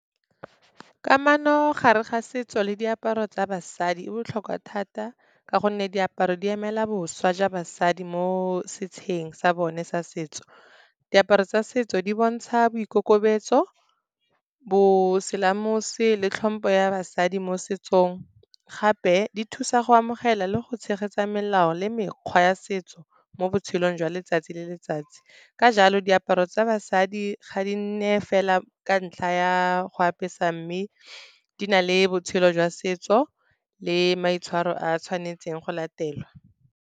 Kamano gare ga setso le diaparo tsa basadi e botlhokwa thata, ka gonne diaparo di emela boswa jwa basadi mo setšheng sa bone sa setso. Diaparo tsa setso di bontsha boikokobetso, boselamose le tlhompho ya basadi mo setsong. Gape di thusa go amogela le go tshegetsa melao le mekgwa ya setso mo botshelong jwa letsatsi le letsatsi. Ka jalo, diaparo tsa basadi ga di nne fela ka ntlha ya go apesa, mme di na le botshelo jwa setso le maitshwaro a tshwanetseng go latelwa.